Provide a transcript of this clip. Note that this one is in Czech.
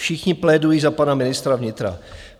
Všichni plédují za pana ministra vnitra.